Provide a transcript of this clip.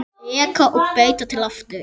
Reka og breyta til aftur?